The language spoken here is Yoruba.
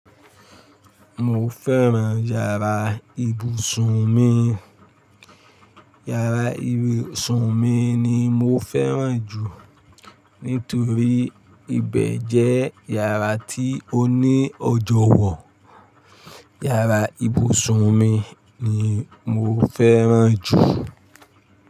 Mo fẹ́ràn yàrá ibùsùn mi, yàrá ibùsùn mi ni mo fẹ́ràn jù nítorí ibẹ̀ jẹ́ yàrá tí ó ní ọjọ́wọ̀. Yàrá ibùsùn mi ni mo fẹ́ràn jù.